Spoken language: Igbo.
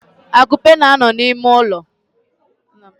Akupe na-ano n'ime ulo.